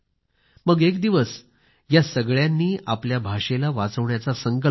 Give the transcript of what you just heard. मग एक दिवस या सगळ्यांनी आपल्या भाषेला वाचवण्याचा संकल्प केला